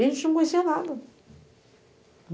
E a gente não conhecia nada.